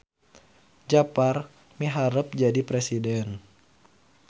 Japar miharep jadi presiden